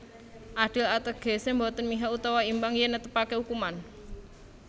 Adil ategese boten mihak utawa imbang yen netepake ukuman